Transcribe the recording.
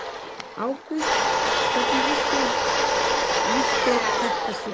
Ágúst: Hvernig lýsir þetta sér?